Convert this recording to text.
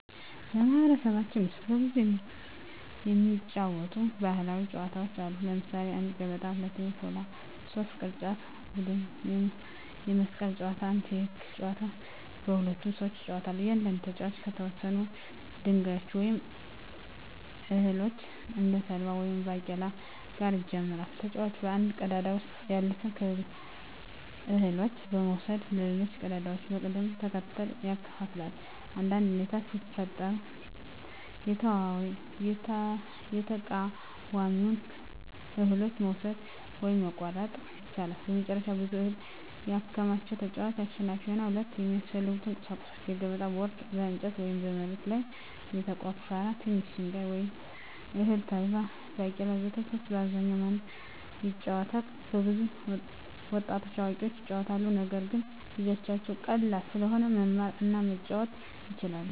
በማኅበረሰባችን ውስጥ በብዛት የሚጫወቱ ባሕላዊ ጨዋታዎች አሉ። ለምሳሌ 1, ገበታ 2, ሾለት 3, ቅርጫት ቡድን የመስቀል ጨዋታ 1. ህጎች : ጨዋታው በሁለት ሰዎች ይጫወታል። እያንዳንዱ ተጫዋች ከተወሰኑ ድንጋዮች ወይም እህሎች (እንደ ተልባ ወይም ባቄላ) ጋር ይጀምራል። ተጫዋቹ ከአንድ ቀዳዳ ውስጥ ያሉትን እህሎች በመውሰድ በሌሎች ቀዳዳዎች በቅደም ተከተል ያከፋፍላል። አንዳንድ ሁኔታዎች ሲፈጠሩ የተቃዋሚውን እህሎች መውሰድ (መቆረጥ) ይቻላል። መጨረሻ ብዙ እህል ያከማቸ ተጫዋች አሸናፊ ይሆናል። 2. የሚያስፈልጉ ቁሳቁሶች: የገበታ ቦርድ (በእንጨት ወይም በመሬት ላይ የተቆፈረ) ትንሽ ድንጋይ ወይም እህል (ተልባ፣ ባቄላ ወዘተ) 3. በአብዛኛው ማን ይጫወታል? በብዛት ወጣቶችና አዋቂዎች ይጫወቱታል። ነገር ግን ልጆችም ቀላል ስለሆነ መማር እና መጫወት ይችላሉ።